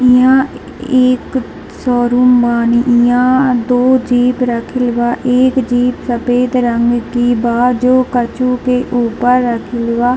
इहाँ ए एक शोरूम बानी | इहाँ दो जीप रखल बा | एक जीप सफ़ेद रंग के बा जो कछू के ऊपर रखले बा |